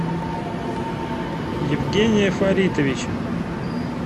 евгения фаритовича